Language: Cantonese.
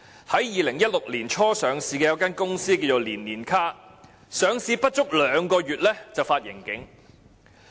在2016年年初上市的一間名叫"年年卡"的公司，更在上市後不足兩個月便發盈警。